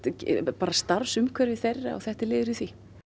bara starfsumhverfi þeirra og þetta er liður í því